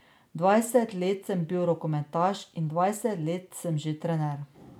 Dvajset let sem bil rokometaš in dvajset let sem že trener.